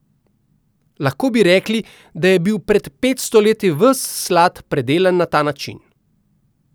Lahko bi rekli, da je bil pred petsto leti ves slad predelan na ta način.